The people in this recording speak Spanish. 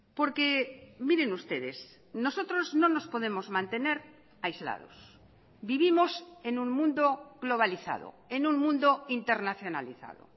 porque miren ustedes nosotros no nos podemos mantener aislados vivimos en un mundo globalizado en un mundo internacionalizado